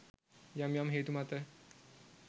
යම් යම් හේතු මත